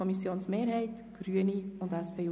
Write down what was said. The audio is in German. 2021 FiKo-Mehrheit / Grüne (Klauser, Bern)